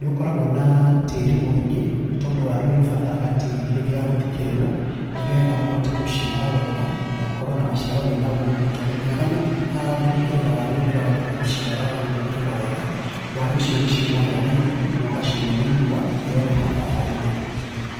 nĩũkoragwo naa tĩrĩ mũingĩ nĩ tondũ waru nĩ ũbataraga tĩrĩ hĩndĩ ya gũthĩkĩrĩrwo, nĩgetha ũhote gũciara wega na ũkorwo na maciaro mena umithio, tondũ ũngĩaga gũthika gũthikĩrĩra waru hĩndĩ ĩrĩa wakinya gũciara wage gũthikĩrĩra wega, waru icio nĩ ciumagĩra na igũrũ, na ũgacinwo nĩ riũa, na ĩyo nĩ hathara harĩ mũrĩmi.